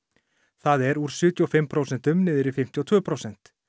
það er úr sjötíu og fimm prósentum niður í fimmtíu og tvö prósent